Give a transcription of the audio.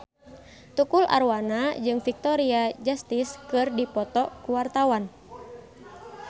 Tukul Arwana jeung Victoria Justice keur dipoto ku wartawan